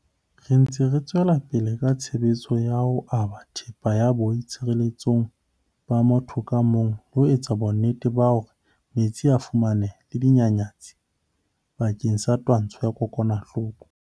Re ntse re tswela pele ka tshebetso ya ho aba thepa ya boi tshireletso ba motho ka mong le ho etsa bonnete ba hore metsi a a fumaneha le dinyanyatsi bakeng sa twantsho ya dikokwanahloko.